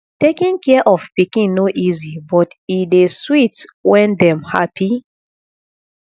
taking care of pikin no easy but e dey sweet when dem happy